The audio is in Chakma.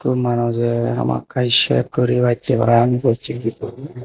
syot manujey hamakkai shave guribattey parapang bochigidi.